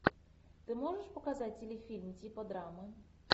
ты можешь показать телефильм типа драмы